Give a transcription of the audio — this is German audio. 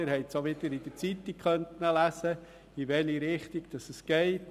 Sie haben auch wieder in der Zeitung lesen können, in welche Richtung sie geht.